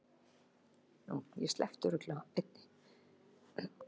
Þeir voru komnir að Hvammi síðla dags og umkringdu bæinn en Daði var ekki þar.